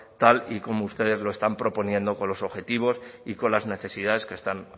tal y como ustedes lo están proponiendo con los objetivos y con las necesidades que están